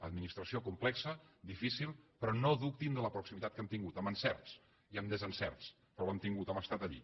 administració complexa difícil però no dubtin de la proximitat que hem tingut amb encerts i amb desencerts però l’hem tingut hem estat allí